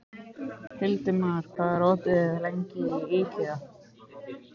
Hildimar, hvað er opið lengi í IKEA?